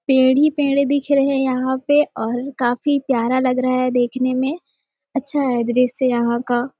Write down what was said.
पेड़ ही पेड़ दिख रहे है यहाँ पे और काफी प्यारा लग रहा है देखने मै अच्छा है दृश्य यहाँ का--